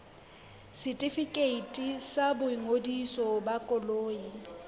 setefikeiti sa boingodiso ba koloi